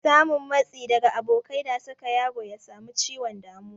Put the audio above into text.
Samun matsi daga abokai na saka yaro ya samu ciwon damuwa